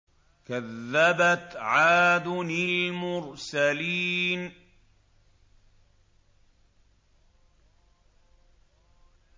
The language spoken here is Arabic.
كَذَّبَتْ عَادٌ الْمُرْسَلِينَ